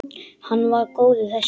Hann var góður þessi!